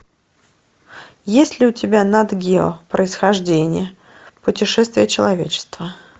есть ли у тебя нат гео происхождение путешествие человечества